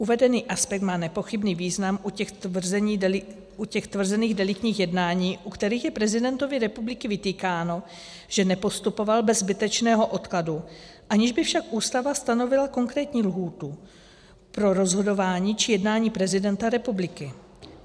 Uvedený aspekt má nepochybný význam u těch tvrzených deliktních jednání, u kterých je prezidentovi republiky vytýkáno, že nepostupoval bez zbytečného odkladu, aniž by však Ústava stanovila konkrétní lhůtu pro rozhodování či jednání prezidenta republiky.